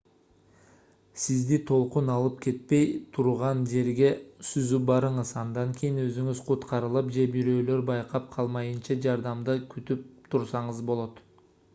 сизди толкун алып кетпей турган жерге сүзүп барыңыз андан кийин өзүңүз куткарылып же бирөөлөр байкап калмайынча жардамды күтүп турсаңыз болот